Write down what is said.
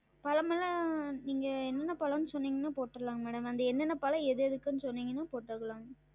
பழம்லாம் நீங்க என்னென்ன பழம் சொன்னீங்கன்னா? போற்றலாங்க madam அந்த என்னென்ன பழம் எது எதுக்குனு சொன்னீங்கன்னா போற்றலாங்க